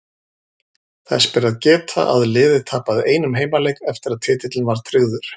Þess ber að geta að liðið tapaði einum heimaleik eftir að titillinn var tryggður.